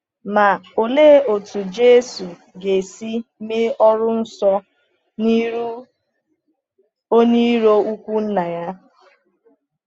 Ma òlee otú Jésù ga-esi mee ọrụ nsọ n’ihu onye iro ukwu Nna ya?